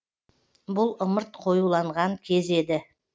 бұл ымырт қоюланған кез еді